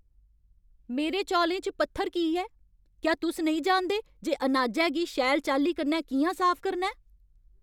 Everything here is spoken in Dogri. मेरे चौलें च पत्थर की ऐ? क्या तुस नेईं जानदे जे अनाजै गी शैल चाल्ली कन्नै कि'यां साफ करना ऐ?